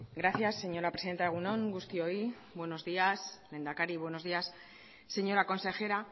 gracias señora presidenta egun on guztioi buenos días lehendakari buenos días señora consejera